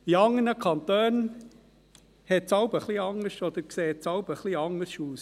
In anderen Kantonen sieht es manchmal etwas anders aus.